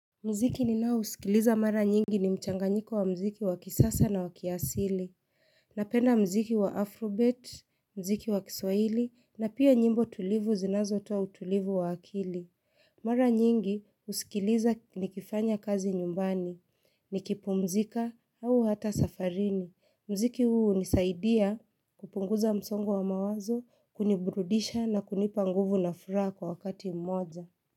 Muziki ninaousikiliza mara nyingi ni mchanganyiko wa muziki wa kisasa na wa kiasili. Napenda muziki wa afrobeat, muziki wa kiswahili, na pia nyimbo tulivu zinazotoa utulivu wa akili. Mara nyingi, husikiliza nikifanya kazi nyumbani. Nikipumzika au hata safarini. Muziki huu hunisaidia kupunguza msongo wa mawazo, kuniburudisha na kunipa nguvu na furaha kwa wakati mmoja.